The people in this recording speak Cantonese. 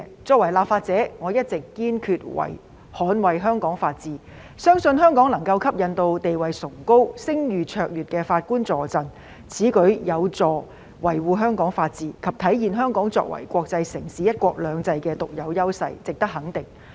作為立法者，我一直堅決捍衞香港法治，相信香港能夠吸引地位崇高、聲譽卓越的法官助陣，此舉有助維護香港法治及體現香港作為國際城市和奉行"一國兩制"的獨有優勢，值得肯定。